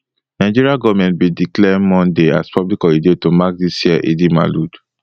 nigeria goment bin declare monday as public holiday to mark dis year eidelmaulud